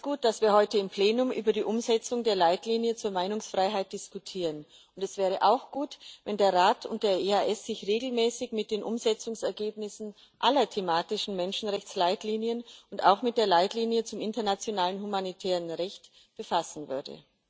Es ist gut, dass wir heute im Plenum über die Umsetzung der Leitlinien zur Meinungsfreiheit diskutieren, und es wäre auch gut, wenn der Rat und der EAD sich regelmäßig mit den Umsetzungsergebnissen aller thematischen Menschenrechtsleitlinien und auch mit der Leitlinie zum internationalen humanitären Recht befassen würden.